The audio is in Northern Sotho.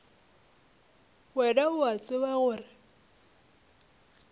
wena o a tseba gore